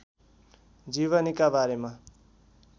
जीवनीका बारेमा